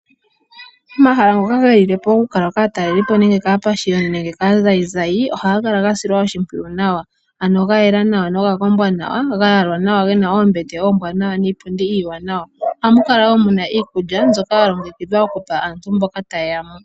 Omahala ngoka gelile po okutalelwa po kaataleli po nenge kaapashiyoni nenge kaazayizayi, ohaga kala gasilwa oshimpwiyu nawa, ano gayela nawa noga kombwa nawa. Ohaga kala ga yalwa nawa , ge na oombete oombwanawa niipundi iiwanawa. Ohamu kala mu na iikulya mbyoka ya longekidhwa okupa aantu mboka opo taye ya mo.